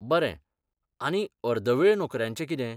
बरें, आनी अर्दवेळ नोकऱ्यांचें कितें?